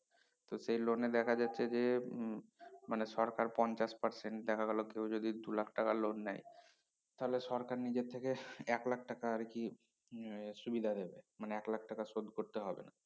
তো সেই লোনে দেখা যাচ্ছে যে উম মানে সরকার পঞ্চাশ percent দেখা গেলো কেউ যদি দুলাখ টাকা loan নেয় তাহলে সরকার নিজের থেকে এক লাখ টাকা আরকি এর সুবিধা দেবে মানে এক লাখ টাকা শোধ করতে হবে না